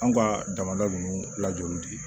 Anw ka damada ninnu lajoli